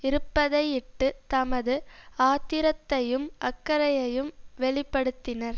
இருப்பதையிட்டு தமது ஆத்திரத்தையும் அக்கறையையும் வெளி படுத்தினர்